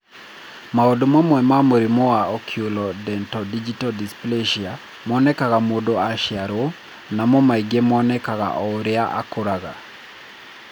Maũndũ mamwe ma mũrimũ wa oculodentodigital dysplasia monekaga mũndũ aciarũo, namo mangĩ monekaga o ũrĩa akũraga.